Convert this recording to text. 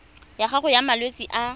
ya gago ya malwetse a